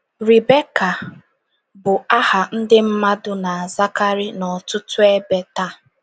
RIBEKA bụ aha ndị mmadụ na - azakarị n’ọtụtụ ebe taa.